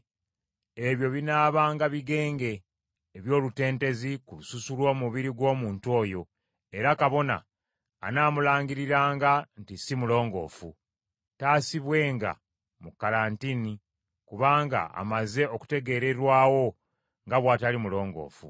ebyo binaabanga bigenge eby’olutentezi ku lususu lw’omubiri gw’omuntu oyo, era kabona anaamulangiriranga nti si mulongoofu. Taasibibwenga mu kalantiini, kubanga amaze okutegeererwawo nga bw’atali mulongoofu.